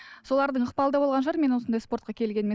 солардың ықпалы да болған шығар менің осындай спортқа келгеніме